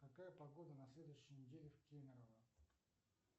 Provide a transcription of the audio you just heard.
какая погода на следующей неделе в кемерово